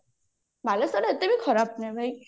ବାଲେଶ୍ଵରରେ ଏତେବି ଖରାପ ନୁହେ ଭାଇ